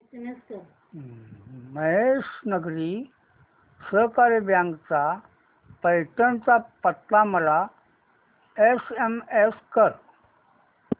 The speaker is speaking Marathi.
महेश नागरी सहकारी बँक चा पैठण चा पत्ता मला एसएमएस कर